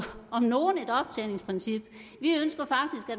om nogen et optjeningsprincip